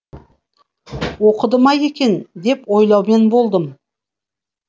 оқыды ма екен деп ойлаумен болдым